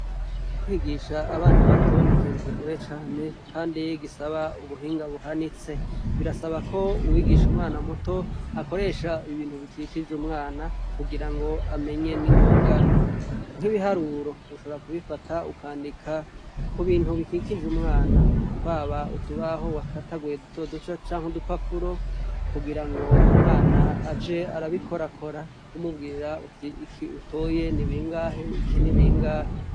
Kwigisha abana bato n'ikintu kigoye cane, kandi yi gisaba ubuhinga buhanitse birasaba ko uwigisha umwana muto akoresha ibintu bikikije umwana kugira ngo amenye n'ingoga nk'ibiharuro ushobora kubifata ukandika ku bintu bikikije umwana twaba utubaho wa ataguye duto duca canke udupapuro kugira ngo umwana aje arabikorakora umubwira uti iki utoye ni bingahe iki nibingahe.